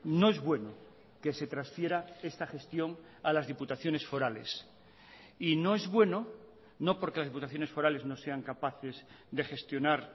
no es bueno que se transfiera esta gestión a las diputaciones forales y no es bueno no porque las diputaciones forales no sean capaces de gestionar